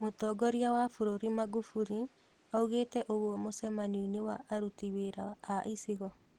Mũtongoria wa bũrũri Magufuli augĩte ũguo mũcemanio-inĩ wa aruti wĩra a icigo.